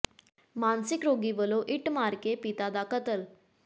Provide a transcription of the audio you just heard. ਮਾਨਸਿਕ ਰੋਗੀ ਵੱਲੋਂ ਇੱਟ ਮਾਰ ਕੇ ਪਿਤਾ ਦਾ ਕਤਲ